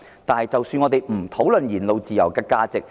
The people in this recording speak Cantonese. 我們暫且不討論言論自由的價值。